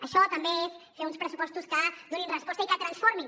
això també és fer uns pressupostos que donin resposta i que transformin